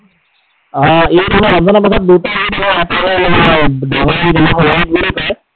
অ, ঈদ আমাৰ ৰমজানৰ পিছত দুটা ঈদ আহে এটা বুলি কয়।